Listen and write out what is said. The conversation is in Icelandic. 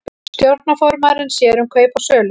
Stjórnarformaðurinn sér um kaup og sölur